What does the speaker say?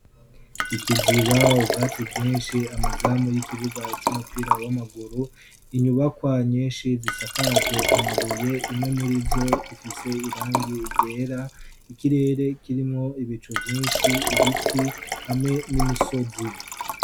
Ikiziba, ubwatsi bwinshi, amazamu y'ikibuga cy'umupira w'amaguru, inyubakwa nyinshi zisakaje amabuye imwe muri zo ifise irangi ryera, ikirere kirimwo ibicu vyinshi, ibiti hamwe nimisozi.